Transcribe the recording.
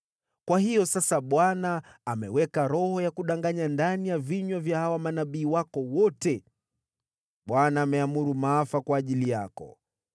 “Kwa hiyo sasa Bwana ameweka roho ya kudanganya ndani ya vinywa vya hawa manabii wako wote. Bwana ameamuru maafa kwa ajili yako.”